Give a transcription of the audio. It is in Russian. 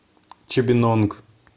чибинонг